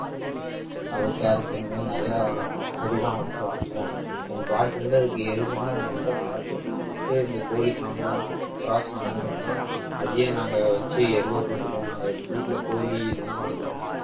அது carrot இந்த மாதிரி நிறைய செடியெல்லாம் வச்சு வளர்த்துவோம் எங்க பாட்டி வந்து அதுக்கு எருவுன்னா ரொம்ப பாத்து இந்த கோழி சாணம், புறா சாணம் இதெல்லாம் அதையே நாங்க வெச்சு எருவா போட்டுக்குவோம் நாங்க வீட்டுல கோழி இதெல்லாம் வளத்துறோம்